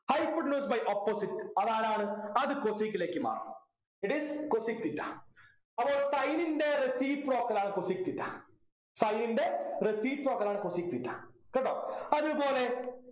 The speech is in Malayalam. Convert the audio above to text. hypotenuse by opposite അതാണ് ആര് അത് cosec ലേക്ക് മാറും it is cosec theta അപ്പൊ sin ൻ്റെ reciprocal ആണ് cosec theta sin ൻ്റെ reciprocal ആണ് cosec theta കേട്ടോ അതുപോലെ